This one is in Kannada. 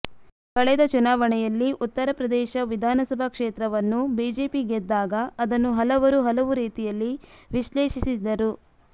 ಕಳೆದ ಚುನಾವಣೆಯಲ್ಲಿ ಉತ್ತರ ಪ್ರದೇಶ ವಿಧಾನಸಭಾ ಕ್ಷೇತ್ರವನ್ನು ಬಿಜೆಪಿ ಗೆದ್ದಾಗ ಅದನ್ನು ಹಲವರು ಹಲವು ರೀತಿಯಲ್ಲಿ ವಿಶ್ಲೇಷಿಸಿದ್ದರು